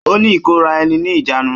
Ó ní ìkóra ẹni ni ìjánu